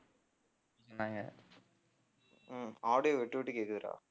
உம் audio விட்டு விட்டு கேக்குதுடா